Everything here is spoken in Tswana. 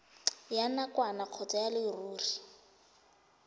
ya nakwana kgotsa ya leruri